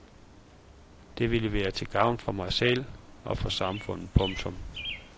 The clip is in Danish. Det vil være til gavn for mig selv og for samfundet. punktum